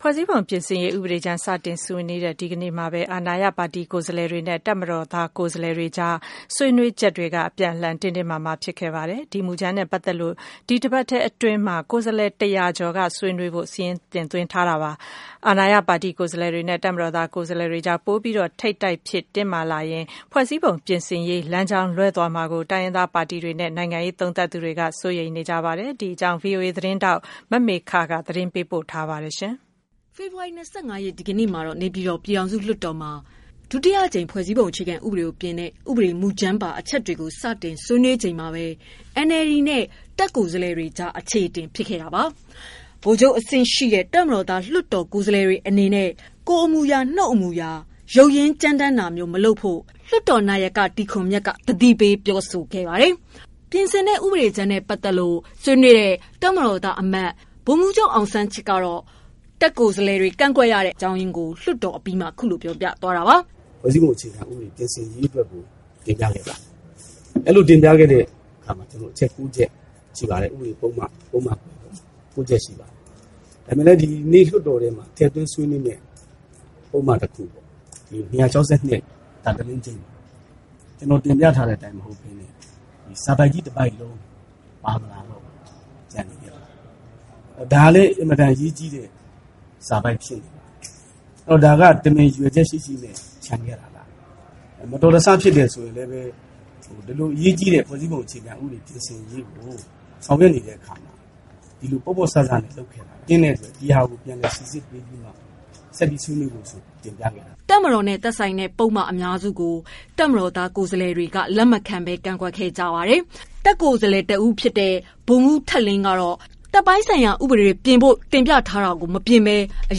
ဖွဲ့စည်းပုံပြင်ဆင်ရေးဥပဒေကြမ်း စတင်ဆွေးနွေးတဲ့ ဒီနေ့မှာပဲ အာဏာရပါတီကိုယ်စားလှယ်တွေနဲ့ တပ်မတော်ကိုယ်စားလှယ်တွေအကြား ဆွေးနွေးချက်တွေက အပြန်အလှန်တင်းတင်းမာမာဖြစ်ခဲ့ပါတယ်။ ဒီ မူကြမ်းနဲ့ပတ်သက်လို့ ဒီတပတ်အတွင်းမှာ ကိုယ်စားလှယ်တရာကျော်ဆွေးနွေးဖို့ စာရင်းသွင်းထားတာပါ။ အာဏာရပါတီကိုယ်စားလှယ်တွေနဲ့ တပ်မတော်ကိုယ်စားလှယ်တွေအကြား ပိုပြီး ထိပ်တိုက်ဖြစ် တင်းမာလာရင်၊ ဖွဲ့စည်းပုံပြင်ရေး လမ်းကြောင်းလွဲသွားမှာကို တိုင်းရင်းသားပါတီတွေနဲ့ နိုင်ငံရေးသုံးသပ်သူတွေက စိုးရိမ်နေကြပါတယ်။ မမေခ သတင်းပေးပို့ထားပါတယ်။ ဖေဖော်ဝါရီ ၂၅ ရက်နေ့ ဒီနေ့ နေပြည်တော် ပြည်ထောင်စုလွှတ်တော်မှာ ဒုတိယအကြိမ် ဖွဲ့စည်းပုံ အခြေခံဥပဒေကို ပြင်ဆင်တဲ့ ဥပဒေမူကြမ်းပါ အချက်တွေကို စတင် တွေးနွေးခဲ့ကြချိန်မှာပဲ NLD နဲ့ တပ်ကိုယ်စားလှယ်တွေ ကြား အချေအတင်ဖြစ်ခဲ့တာပါ။ဗိုလ်ချုပ်အဆင့်ရှိ တပ်မတော်သား လွှတ်တော်ကိုယ်စားလှယ် တွေအနေနဲ့ကိုယ်အမူအရာ၊ နှုတ်အမူအရာ ရုတ်ရင်းကြမ်းတမ်းတာမျိုး မလုပ်ဖို့ လွှတ်တော်နာယက တီခွန်မြတ်ကိုယ်တိုင်က သတိပေးပြောဆိုခဲ့ရတဲ့အထိ ဖြစ်ခဲ့ပါတယ်။ ပြင်ဆင်တဲ့ ဥပဒေကြမ်းနဲ့ ပတ်သတ်လို့ဆွေးနွေးခဲ့တဲ့ တပ်မတော်သားအမတ် ဗိုလ်မှူးချုပ် အောင်စန်းချစ်ကတော့ တပ်ကိုယ်စားလှယ်တွေ ကန့်ကွက်ရတဲ့ အကြောင်းရင်းကို လွှတ်တော်အပြီးမှာ ခုလို ပြောပါတယ်။ "ဖွဲ့စည်းပုံအခြေခံ ပြင်ဆင်ရေးအတွက်ကို တင်ပြခဲ့ပါတယ်။ အဲ့လို တင်ပြခဲ့တဲ့အခါမှာ အချက် ၉ ချက်ရှိပါတယ်။ ဥပဒေပုဒ်မ ၉ ချက်ရှိပါတယ်။ ဒါပေမဲ့လည်း ဒီနေ့ လွှတ်တော်ထဲမှာ ထည့်သွင်းဆွေးနွေးမယ့် ပုဒ်မ တခုပေါ့ ၂၆၂ ကျနော်တင်ပြထားတဲ့အတိုင်း မဟုတ်ဘဲနဲ့ စာပိုဒ်ကြီး တပိုဒ်လုံး ပါမလာတော့ဘူး။ ဒါကလည်း အင်မတန်အရေးကြီးတဲ့ စာပိုဒ်ဖြစ်နေတယ်။ ဒါက တမင် ရည်ရွယ်ချက်ရှိရှိနဲ့ ချန်ခဲ့တာလား။ မတော်တဆဖြစ်တယ်ဆိုရင်လည်းပဲ အလွန်အရေးကြီးတဲ့ ဖွဲ့စည်းပုံအခြေခံ ပြင်ဆင်ရေးကို ဆောင်ရွက်နေတဲ့အခါမှာ ဒီလို ပေါ့ပေါ့ဆဆနဲ့ လုပ်နေတာဖြစ်တဲ့အတွက် ဒီဟာကို ပြန်လည်စိစစ်ပေးပြီးမှပဲ ဆက်ပြီးဆွေးနွေးဖို့ဆိုတာ တင်ပြခဲ့ပါတယ်။" တပ်မတော်နဲ့သက်ဆိုင်တဲ့ ပုဒ်မ အများစုကို တပ်မတော်သား ကိုယ်စားလှယ်တွေက လက်မခံဘဲ ကန့်ကွက်ခဲ့ကြပါတယ်။ တပ်ကိုယ်စားလှယ် ဗိုလ်မှူးထက်လင်း က တပ်ပိုင်းဆိုင်ရာဥပဒေတွေ ပြင်ဖို့ တင်ပြထားတာတွေကို မပြင်ဆင်ပဲ မူ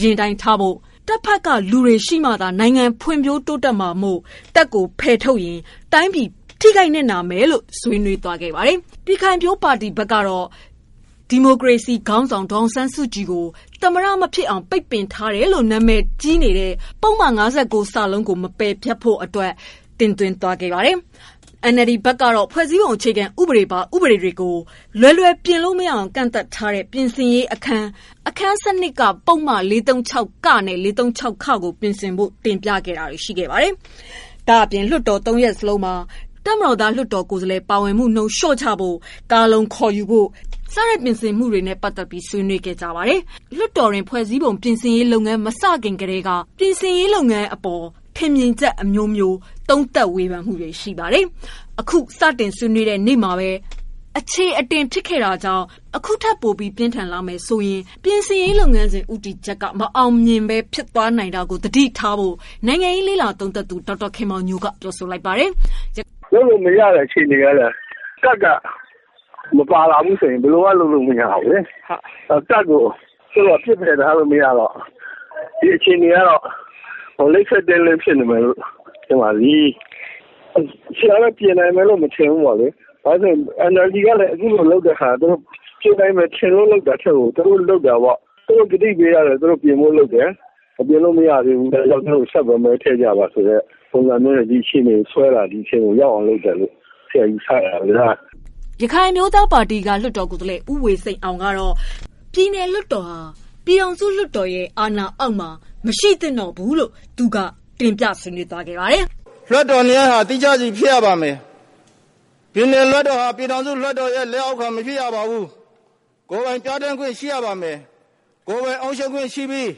လအတိုင်းသာ ထားရှိဖို့အပြင် တပ်ဘက်က လူတွေရှိမှ နိုင်ငံတိုးတက်နိုင်မှာမို့ တပ်ကို ဖယ်ထုတ်ရင် တိုင်းပြည် ထိခိုက်နစ်နာနိုင်တယ်လို့ ဆွေးနွေးသွားခဲ့တာပါ။ ပြည်ခိုင်ဖြိုးပါတီဘက်က ဒီမိုကရေစီ ခေါင်း ဆောင်ဒေါ်အောင်ဆန်းစုကြည် ကိုသမ္မတ မဖြစ်အောင် ပိတ်ထားတယ်လို့နာမည်ကြီးနေတဲ့ ပုဒ်မ ၅၉ ကို မပယ်ဖျက်ဖို့ အတွက် တင်သွင်းခဲ့သလို NLD ဘက်ကလည်းဖွဲ့စည်းပုံ အခြေခံဥပဒေပါ ဥပဒေတွေကိုလွယ်လွယ် မပြင်နိုင်အောင် ကန့်သတ်ထားတဲ့ ပြင်ဆင်ရေးအခန်း အခန်း ၁၂ ပုဒ်မ ၄၃၆ နဲ့ ကိုပြင်ဆင်ဖို့ တင်ပြတာတွေရှိခဲ့ပါတယ်။ဒါ့အပြင် လွှတ်တော် ၃ ရပ် စလုံးမှာ တပ်မတော်သား လွှတ်တော်ကိုယ်စားလှယ် ပါဝင်မှုနှုန်း လျော့ချဖို့၊ ကာလုံ - ခေါ်ယူရေး ဆိုင်ရာ ပြင်ဆင်မှု တွေနဲ့ပတ်သက်ပြီး ဆွေးနွေးခဲ့ပါတယ်။ လွှတ်တော်တွင်း ဖွဲ့စည်းပုံ ပြင်ဆင်ရေးလုပ်ငန်းစဉ်မစခင် ကထဲက နိုင်ငံရေးလေ့လာသုံးသပ်သူ တွေ က ထင်မြင်ချက် အမျိုးမျိုး ပေးနေကြတာပါ။ အခုတော့ စတင်ဆွေးနွေးတဲ့ နေ့မှာဘဲ အချေအတင် ဖြစ်ခဲ့ တာကြောင့် အခုထက် ပိုပြီး ပြင်းထန်လာမယ် ဆိုရင် ပြင်ဆင်ရေးလုပ်ငန်းစဉ် ဦးတည်ချက် မအောင်မြင်ဘဲ ဖြစ်သွားနိုင်တာကို သတိထားဖို့နိုင်ငံရေး သုံးသပ်သူဒေါက်တာခင်မောင်ညိုက ပြောပါတယ်။ "လုပ်လို့မရတဲ့ အခြေအနေဟုတ်လား၊ တပ်က မပါလာဘူးဆိုရင် ဘယ်လိုမှ လုပ်လို့မရဘူး။ တပ်ကို ပစ်ပယ်ထားလို့ မရတော့ ဒီအခြေအနေကတော့ လိပ်ခဲတင်းလင်းဖြစ်နေတယ်လို့ ထင်ပါတယ်။ ပြင်တာတော့ ပြင်နိုင်မယ်လို့တော့ မထင်ဘူးပေါ့လေ။ ဘာလို့လဲဆိုတော့ NLD ကလည်း အခုလိုလုပ်တဲ့ဟာ သူတို့ ပြင်နိုင်မယ်ထင်လွန်းလို့ လုပ်တာထက်ကို သူတို့ကတိပေးထားတဲ့အတိုင်းပြင်ဖို့လုပ်တယ် ပြင်လို့မရသေးဘူးဆိုတော့ ဆက်ပြီးတော့ သူတို့ကို မဲထည့်ကြပါ ဆိုတဲ့ ပုံစံမျိုးနဲ့ ဒီအခြေအနေကို ဆွဲတာ လို့ ဆရာယူဆရပါတယ်။” ရခိုင်အမျိုးသားပါတီမှ လွှတ်တော်ကိုယ်စားလှယ် ဦးဝေစိန်အောင်က ပြည်နယ်လွှတ်တော်ဟာ ပြည်ထောင်စု လွှတ်တော်ရဲ့ လက်အောက်မှာ မရှိဖို့ဆွေးနွေးခဲ့ပါတယ်။ “လွှတ်တော်နှစ်ရပ်ဟာသီးခြားစီဖြစ်ရပါမယ်။ ပြည်နယ်လွှတ်တော်ဟာ ပြည်ထောင်စုလွှတ်တော်ရဲ့ လက်အောက်မှာ မရှိရပါဘူး။ ကိုယ်ပိုင်ပြဌာန်းခွင့်ရှိရပါမယ်။ ကိုယ်ပိုင်အုပ်ချုပ်ခွင့်ရှိပြီး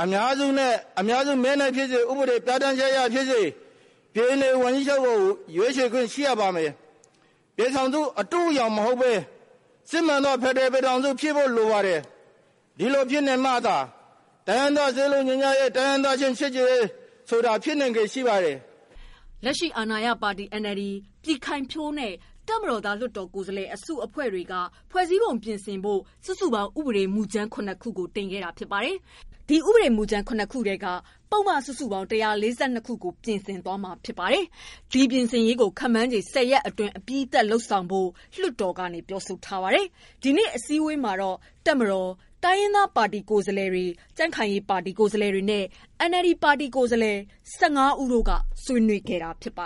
အများစုမဲနဲ့ ဖြစ်စေ ဥပဒေပြဌာန်းချက်အရဖြစ်စေ ပြည်နယ်ဝန်ကြီးချုပ်ကိုရွေးချယ်ခွင့်ရှိရပါမယ်။ ပြည်ထောင်စု အတုအယောင်မဟုတ်ဘဲ စစ်မှန်သောဖက်ဒရယ်ပြည်ထောင်စုဖြစ်ဖို့လိုပါတယ်။ ဒီလိုဖြစ်နေမှသာ တိုင်းရင်းသား စည်းလုံးညီညွတ်ရေး တိုင်းရင်းသားချင်း ချစ်ကြည်ရေးဆိုတာဖြစ်နိုင်ချေရှိ ပါတယ်။” လက်ရှိအာဏာရပါတီ NLD၊ ၊ပြည်ခိုင်ဖြိုးနဲ့ တပ်မတော်သား လွှတ်တော်ကိုယ်စားလှယ်အစုအဖွဲ့တို့က ဖွဲ့စည်း ပုံပြင်ဖို့ စုစုပေါင်း ဥပဒေမူကြမ်း ၇ ခု တင်ခဲ့တာဖြစ်ပါတယ်။ တင်သွင်းတဲ့ ဥပဒေ မူကြမ်း ၇ ခု ထဲကပုဒ်မ စုစုပေါင်း ၁၄၂ ခု ပြင်ဆင်မှာ ဖြစ်ပြီး ဒီ ပြင်ဆင်ရေးကို ခန့်မှန်းခြေ ၁၀ရက် အတွင်းမှာ အပြီးသတ်လုပ်ဖို့ လျာထား တယ်လို့ လွတ်တော်က ပြောပါတယ်။ ဒီနေ့အစည်းအဝေးမှာတော့ တပ်မတော်၊ တိုင်းရင်းသားပါတီ ကိုယ်စားလှယ်တွေ၊ ကြံ့ခိုင်ရေးပါတီ ကိုယ်စားလှယ်တွေနဲ့ NLD ပါတီက ကိုယ်စားလှယ်စုစုပေါင်း ၁၅ ဦးတို့က ဆွေးနွေးခဲ့တာဖြစ်ပါ